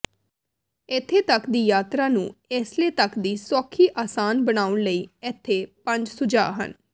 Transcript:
ਇੱਥੇ ਦੀ ਯਾਤਰਾ ਨੂੰ ਏਸਲੇ ਤੱਕ ਦੀ ਸੌਖੀ ਆਸਾਨ ਬਣਾਉਣ ਲਈ ਇੱਥੇ ਪੰਜ ਸੁਝਾਅ ਹਨ